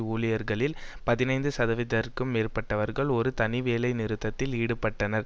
ஊழியர்களில் பதினைந்து சதவிதத்திற்கும் மேற்பட்டவர்கள் ஒரு தனி வேலைநிறுத்தத்தில் ஈடுபட்டனர்